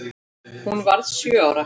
Hún varð sjö ára.